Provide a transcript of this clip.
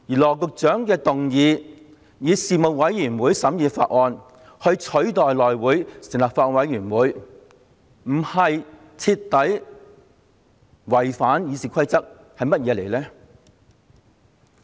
羅局長的議案提出以人力事務委員會取代由內會成立法案委員會審議《條例草案》。